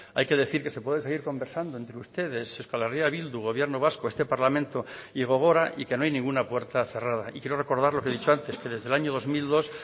hay que decir que se puede seguir conversando entre ustedes euskal herria bildu gobierno vasco este parlamento y gogora y que no hay ninguna puerta cerrada y quiero recordar lo que he dicho antes que desde el año dos mil dos